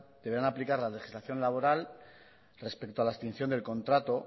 deberán aplicar la legislación laboral respeto a la extinción del contrato